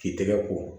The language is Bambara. K'i tɛgɛ ko